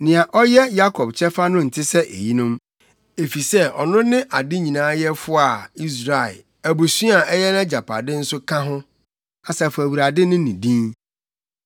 Nea ɔyɛ Yakob Kyɛfa no nte sɛ eyinom, efisɛ ɔno ne ade nyinaa Yɛfo a Israel, abusua a ɛyɛ nʼagyapade nso ka ho. Asafo Awurade ne ne din.